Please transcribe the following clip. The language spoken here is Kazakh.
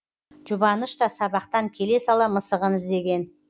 жұбаныш та сабақтан келе сала мысығын іздеген